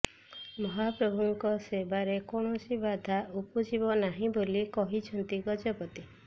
ମହାପ୍ରଭୁଙ୍କ ସେବାରେ କୌଣସି ବାଧା ଉପୁଜିବ ନାହିଁ ବୋଲି କହିଛନ୍ତି ଗଜପତି